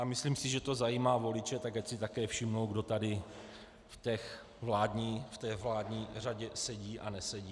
A myslím si, že to zajímá voliče, tak ať si také všimnou, kdo tady v té vládní řadě sedí a nesedí.